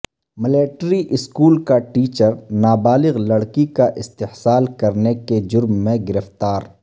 military school کا teacher نابالغ لڑکی کا استحصال کرنے کے جرم گرفتار